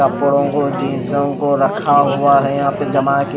कपड़ों को जींसों को रखा हुआ है यहां पे जमा के--